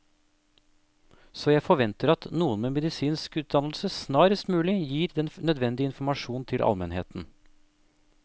Så jeg forventer at noen med medisinsk utdannelse snarest mulig gir den nødvendige informasjon til almenheten.